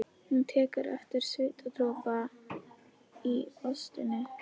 Hún tekur eftir svitadropa í óstinni.